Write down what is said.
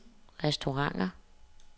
restauranter